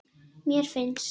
Mér finnst.